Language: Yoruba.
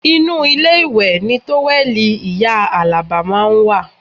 Inú ilé ìwẹ̀ ni tówẹ́ẹ̀lì ìyá Alaba máa ń wà